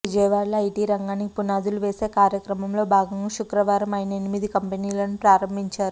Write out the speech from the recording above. విజయవాడలో ఐటీ రంగానికి పునాదులు వేసే కార్యక్రమంలో భాగంగా శుక్రవారం ఆయన ఎనిమిది కంపెనీలను ప్రారంభించారు